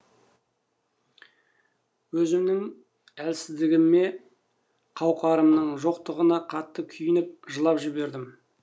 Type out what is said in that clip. өзімнің әлсіздігіме қауқарымның жоқтығына қатты күйініп жылап жібердім